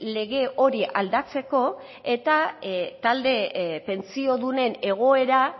lege hori aldatzeko eta talde pentsiodunen egoera